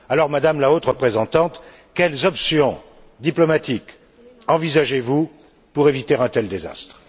Alors, Madame la Haute représentante, quelles options diplomatiques envisagez vous pour éviter un tel désastre?